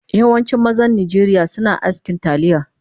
Yawancin mazan najeriya suna askin talliya